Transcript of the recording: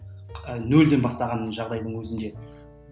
нөлден бастаған жағдайдың өзінде